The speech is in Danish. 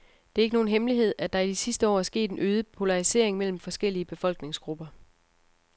Det er ikke nogen hemmelighed, at der i de sidste år er sket en øget polarisering mellem forskellige befolkningsgrupper.